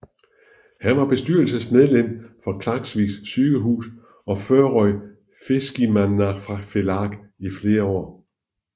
Han var bestyrelsesmedlem for Klaksvík Sygehus og Føroya Fiskimannafelag i flere år